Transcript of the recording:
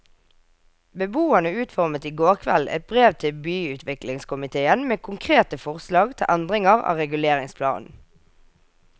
Beboerne utformet i går kveld et brev til byutviklingskomitéen med konkrete forslag til endringer av reguleringsplanen.